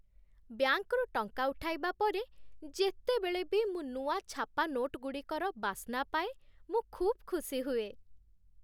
ବ୍ୟାଙ୍କରୁ ଟଙ୍କା ଉଠାଇବା ପରେ, ଯେତେବେଳେ ବି ମୁଁ ନୂଆ ଛାପା ନୋଟ୍ ଗୁଡ଼ିକର ବାସ୍ନା ପାଏ, ମୁଁ ଖୁବ୍ ଖୁସି ହୁଏ।